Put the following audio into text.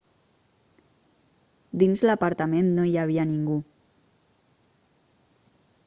dins l'apartament no hi havia ningú